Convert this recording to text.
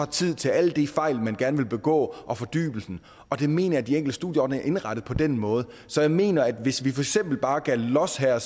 tid til alle de fejl man gerne vil begå og fordybelsen og der mener jeg at de enkelte studieordninger er indrettet på den måde så jeg mener at hvis vi for eksempel bare gav los her